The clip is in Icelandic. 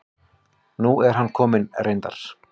Nú er hann kominn reyndar.